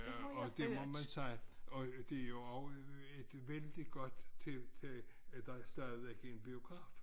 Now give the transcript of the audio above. Øh og det må man sige og det jo også et vældig godt tiltag at der stadigvæk er en biograf